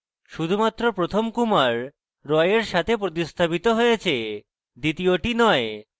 শুধুমাত্র প্রথম kumar roy এর সাথে প্রতিস্থাপিত হয়েছে দ্বিতীয়টি roy